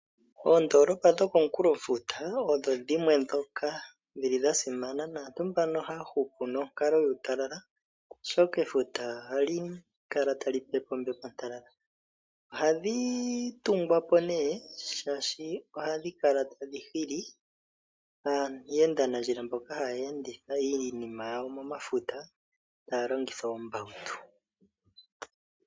Oondolopa dhokomunkulofuta odho dhimwe dhoka dhili dha simana, naantu mbano oha ya hupu nonkalo yuutalala, oshoka efuta oha li kala tali pepe ombepo ontalala. Ohadhi tungwa po nee shaashi ohadhi kala tadhi hili aayendinandjila mboka ha ya enditha iinima yawo momafuta ta ya longitha oombawutu.